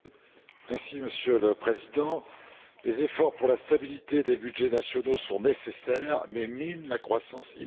Monsieur le Président, des efforts pour la stabilité des budgets nationaux sont nécessaires, mais minent la croissance immédiate.